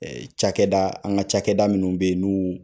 Cakɛda an ka cakɛda minun be yen n'u